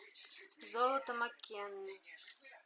золото маккены